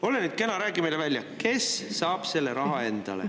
Ole nüüd kena, räägi meile välja, kes saab selle raha endale.